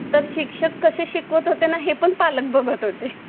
तर शिक्षक कसे शिकवतात आहे हेपण पालक बघत होते